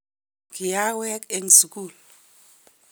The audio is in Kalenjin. kiawek eng' sukul